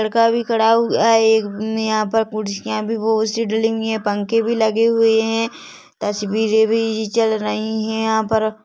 लड़का भी खड़ा हुआ है एक ने यहाँ पर कुर्सियाँ भी बहुत- सी डली हुई है पंखे भी लगे हुए है तस्वीरें भी चल रही है यहाँ पर--